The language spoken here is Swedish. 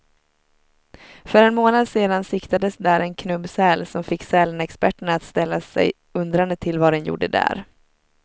För en månad sedan siktades där en knubbsäl, som fick sälexperterna att ställa sig undrande till vad den gjorde där.